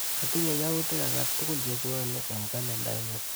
Atinye yautik akatukul chebwoni eng kalendainyu.